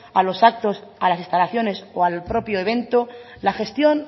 a los actos a las instalaciones o al propio evento la gestión